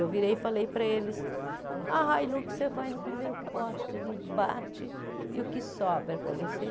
Eu virei e falei para eles, a Hilux você vai no primeiro poste ali, bate, e o que sobra para você?